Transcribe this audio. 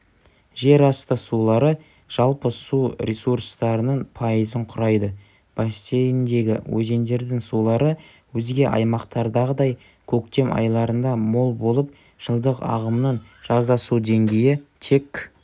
жерасты сулары жалпы су ресурстарының пайызын құрайды бассейндегі өзендердің сулары өзге аймақтардағыдай көктем айларында мол болып жылдық ағымның жазда су деңгейі тек